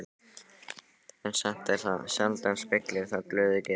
En satt er það, sjaldan spillir það glöðu geði.